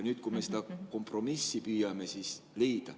Nüüd me püüame kompromissi leida.